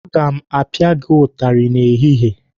Aga m apia gị ụtarị n'ehihie!